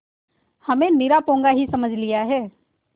हमें निरा पोंगा ही समझ लिया है